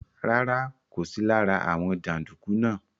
Rárá, kò sí lára àwọn jàǹdùkú náà.